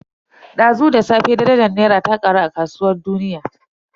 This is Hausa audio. Dazu da safe darajar Naira ta karu a kasuwar duniya.